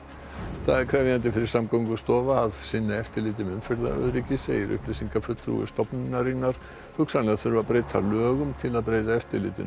það er krefjandi fyrir Samgöngustofu að sinna eftirliti með umferðaröryggi segir upplýsingafulltrúi stofnunarinnar hugsanlega þurfi að breyta lögum til að breyta eftirlitinu